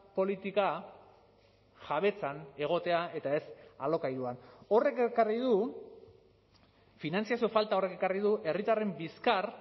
politika jabetzan egotea eta ez alokairuan horrek ekarri du finantzazio falta horrek ekarri du herritarren bizkar